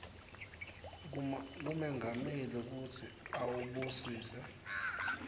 kumengameli kutsi awubusise